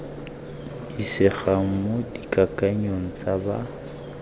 isegang mo dikakanyong tsa ba